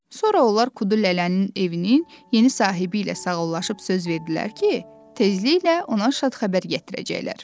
Sonra onlar Kudu Lələnin evinin yeni sahibi ilə sağollaşıb söz verdilər ki, tezliklə ona şad xəbər gətirəcəklər.